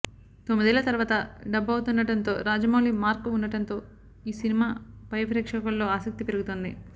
తొమ్మిదేళ్ల తర్వాత డబ్ అవుతుండడం తో రాజమౌళి మార్క్ ఉండడం తో ఈ సినిమా ఫై ప్రేక్షకుల్లో ఆసక్తి పెరుగుతుంది